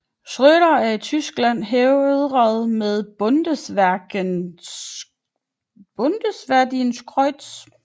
Schröder er i Tyskland hædret med Bundesverdienstkreuz